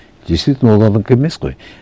действительно ол онікі емес қой